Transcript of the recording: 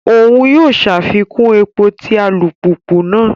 Oun yóò ṣàfikún èpò ti alupupu náà